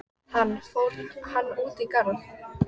Hann: Fór hann út í garð?